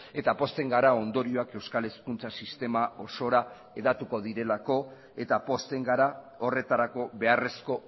eta pozten gara ondorioak euskal hezkuntza sistema osora hedatuko direlako eta pozten gara horretarako beharrezko